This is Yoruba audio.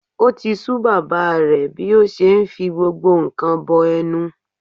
O ti sú bàbá rẹ̀ bí ó ṣe ń fi gbogbo nǹkan bọ ẹnu.